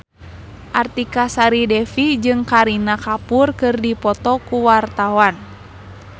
Artika Sari Devi jeung Kareena Kapoor keur dipoto ku wartawan